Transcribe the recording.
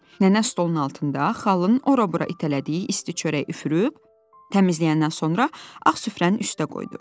Nənə stolun altında xallının ora-bura itələdiyi isti çörək üfürüb təmizləyəndən sonra ağ süfrənin üstə qoydu.